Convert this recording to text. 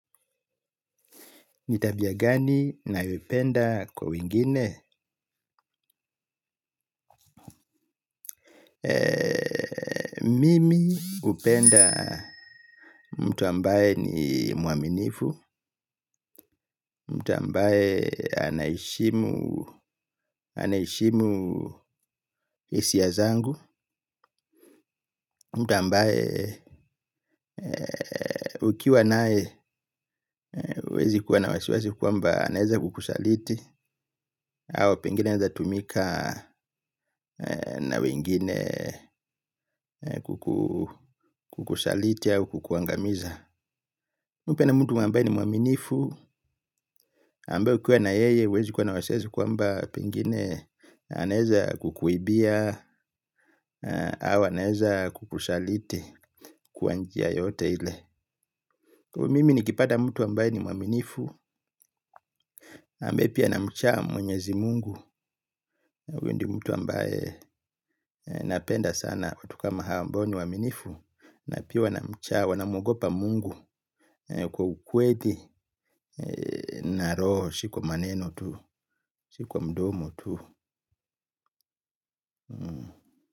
Nitabia gani nayopenda kwa wengine? Mimi upenda mtu ambaye ni muaminifu, mtu ambaye anaeshimu isiya zangu, mtu ambaye ukiwa nae uwezi kuwa na wasiwasi kwamba aneza kukusaliti, au pengine aneza tumika na wingine kukusaliti au kukuangamiza. Mimi hupenda mtu ambaye ni mwaminifu, ambaye ukiwa na yeye huwezi kuwa na wasiwasi kwamba pengine anaweza kukuibia, au anaweza kukusaliti kwa njia yote ile. Kwa hivyo mimi nikipata mtu ambaye ni mwaminifu ambaye pia anamcha mwenyezi mungu huyo ndiyo mtu ambaye napenda sana watu kama hao ambao ni waaminifu na pia wanamcha wanamwogopa mungu kwa ukweli na roho si kwa maneno tu si kwa mdomo tu.